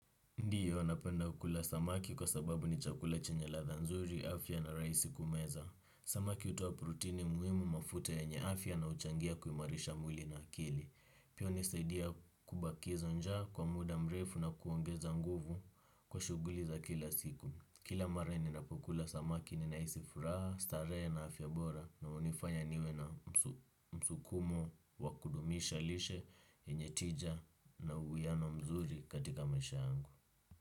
Ndiyo, napenda kula samaki kwa sababu ni chakula chenye latha nzuri, afya na raisi kumeza. Samaki hutoa prutini muhimu mafuta yenye afya na uchangia kuimarisha mwili na akili. Pia unisaidia kubakizo njaa kwa muda mrefu na kuongeza nguvu kwa shughuli za kila siku. Kila mara ni napukula samaki ni nahisi furaha, starehe na afya bora na unifanya niwe na msukumo wakudumisha lishe yenye tija na uwiano mzuri katika maisha yangu.